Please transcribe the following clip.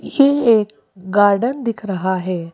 ये एक गार्डन दिख रहा है।